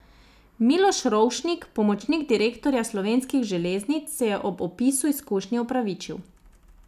Miloš Rovšnik, pomočnik direktorja Slovenskih železnic, se je ob opisu izkušnje opravičil.